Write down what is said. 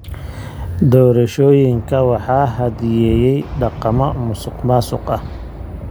Doorashooyinka waxa hadheeyey dhaqamo musuqmaasuq ah.